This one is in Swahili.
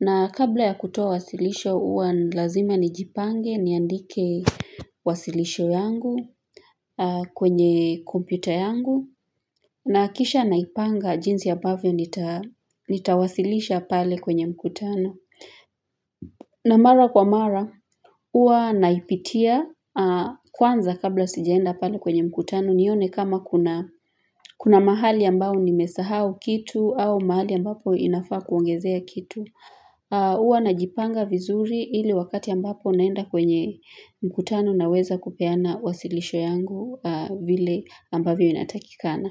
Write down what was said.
na kabla ya kutoa wasilisho huwa lazima nijipange niandike wasilisho yangu kwenye kompyuta yangu nahakikisha naipanga jinsi ambavyo nitawasilisha pale kwenye mkutano. Na mara kwa mara, huwa naipitia kwanza kabla sijaenda pale kwenye mkutano nione kama kuna mahali ambao nimesahau kitu au mahali ambapo inafaa kuongezea kitu. Huwa najipanga vizuri ili wakati ambapo naenda kwenye mkutano naweza kupeana wasilisho yangu vile ambavyo inatakikana.